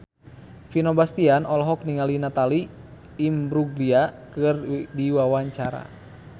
Vino Bastian olohok ningali Natalie Imbruglia keur diwawancara